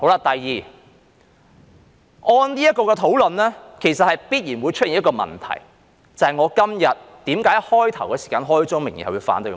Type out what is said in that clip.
第二，這討論其實必然會出現一個問題，便是我今天為何在開始時開宗明義反對的原因。